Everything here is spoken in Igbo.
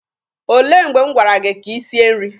O lee mgbe m gwara gị ka i sie nri?